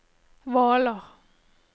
Hvaler